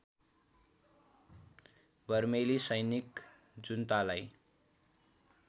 बर्मेली सैनिक जुन्तालाई